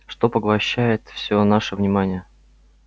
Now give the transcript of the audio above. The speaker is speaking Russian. что поглощает всё наше внимание